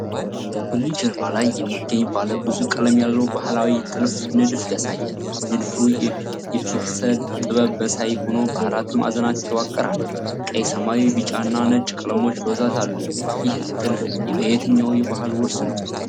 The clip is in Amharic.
በቡኒ ጀርባ ላይ የሚገኝ ባለብዙ ቀለም ያለው ባህላዊ ጥልፍ ንድፍ ያሳያል። ንድፉ የፒክሰል ጥበብ መሳይ ሆኖ በአራት ማዕዘናት የተዋቀረ ነው። ቀይ፣ ሰማያዊ፣ ቢጫ እና ነጭ ቀለሞች በብዛት አሉ። ይህ ጥልፍ የየትኛው ባህል ውርስ ነው?